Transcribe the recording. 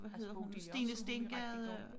Altså Bodil Jørgensen hun er rigtig god